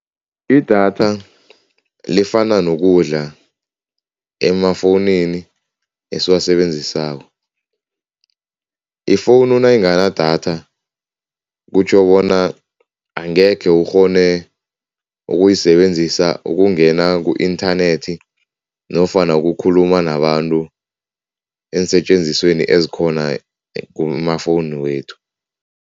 Idatha lifana nokudla emafowunini esiwasebenzisako. Ifowunu nayinganadatha kutjho bona angekhe ukghone ukuyisebenzisa ukungena ku-inthanethi nofana ukukhuluma nabantu eensetjenzisweni ezikhona kumafowunu wethu.